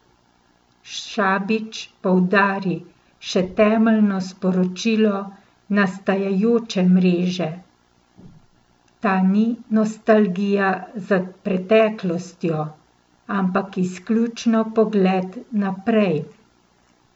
Šabič poudari še temeljno sporočilo nastajajoče mreže: "Ta ni nostalgija za preteklostjo, ampak izključno pogled naprej.